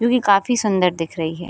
जो कि काफी सुंदर दिख रही है।